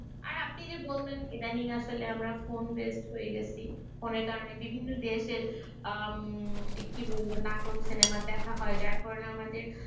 আর আপনি এই যে বললেন ইদানিং আসলে আমরা ফোন based হয়ে গেছি ফোনের কারণে বিভিন্ন দেশের আহ কি বলবো নাটক সিনেমা দেখা হয় যার কারণে আমাদের